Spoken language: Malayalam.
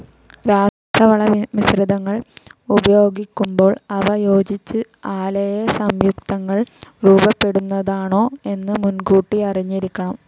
രാസവള മിശ്രിതങ്ങൾ ഉപയോഗിക്കുമ്പോൾ അവ യോജിച്ചു അലേയ സംയുക്തങ്ങൾ രൂപപ്പെടുന്നതാണോ എന്ന് മുൻകൂട്ടി അറിഞ്ഞിരിക്കണം